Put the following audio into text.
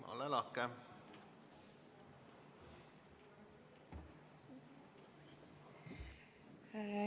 Ole lahke!